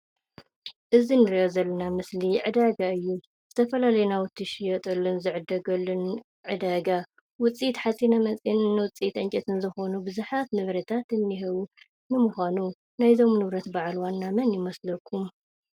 እዚ ንሪኦ ዘለና ምስሊ ዕዳጋ እዩ። ዝተፈላላየ ናውቲ ዝሽየጠሉን ዝዕደገሉን ዕደጋ ውፅኢት ሓፂነ መፂን ውፅኢት ዕንጨይቲ ዝኾን ንብዛሓት ንብረታት እንሄዉ። ንምዃኑ ናይ እዞም ንብረት በዓል ዋና መን ይመስለኩም?